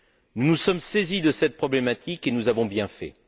Nous nous sommes saisis de cette problématique et nous avons bien fait.